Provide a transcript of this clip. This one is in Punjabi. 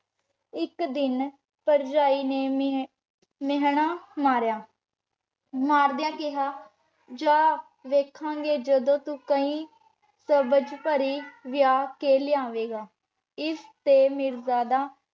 ਇਕ ਦਿਨ ਭਰਜਾਈ ਨੇ ਮ ਮਿਹਣਾ ਮਾਰਿਆ ਮਾਰਦਿਆਂ ਕਿਹਾ ਜਾ ਵੇਖਾਂਗੇ ਜਦੋਂ ਤੂੰ ਕੋਈ ਸਬਜ਼ ਪਰੀ ਵਿਆਹ ਕੇ ਲੈ ਆਵੇਗਾ। ਇਸ ਤੇ ਮੀਰਜ਼ਾਦਾ